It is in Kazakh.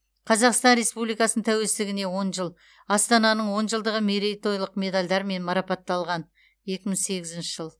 қазақстан республикасының тәуелсіздігіне он жыл астананың он жылдығы мерейтойлық медальдармен марапатталған екі мың сегізінші жыл